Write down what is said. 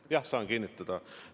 Jah, saan kinnitada.